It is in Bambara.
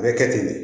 A bɛ kɛ ten de